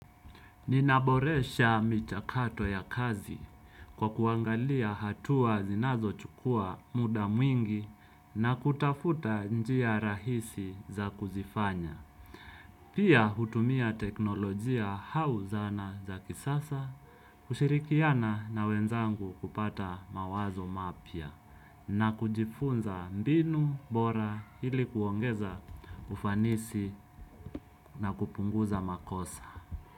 Ninaboresha michakato ya kazi kwa kuangalia hatua zinazochukua muda mwingi na kutafuta njia rahisi za kuzifanya. Pia hutumia teknolojia au zana za kisasa, kushirikiana na wenzangu kupata mawazo mapya na kujifunza mbinu, bora ili kuongeza ufanisi na kupunguza makosa.